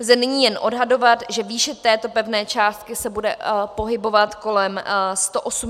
Lze nyní jen odhadovat, že výše této pevné částky se bude pohybovat kolem 180 až 200 korun.